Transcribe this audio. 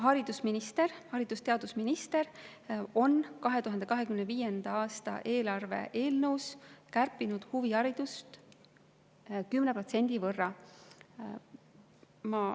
Haridus‑ ja teadusminister on 2025. aasta eelarve eelnõus kärpinud huviharidust 10% võrra.